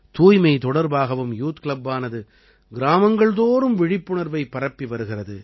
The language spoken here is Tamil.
தூய்மை தொடர்பாகவும் யூத் கிளப்பானது கிராமங்கள்தோறும் விழிப்புணர்வைப் பரப்பி வருகிறது